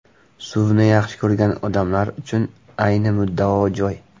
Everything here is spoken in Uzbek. Suvni yaxshi ko‘rgan odamlar uchun ayni muddao joy.